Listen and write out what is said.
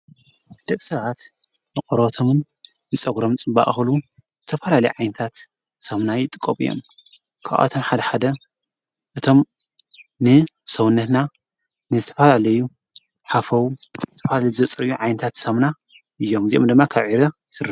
ድቂ ሰባት ንቖሮቦቶምንንጸጕሮም ጽባቀ ኽብሉኹሉ ዝተፋላለይ ዓይንታት ሰሙና ይጥቀሙ እዮም ክብኣቶም ሓድ ሓደ እቶም ንሰውነትና ንዝተፋላለዩ ሓፈዉ ዝጽርዩ ዓይንታት ሰሙና እዮም እዚኦም ደማ ካብ ዒረ ዝስሩሑ እዮም።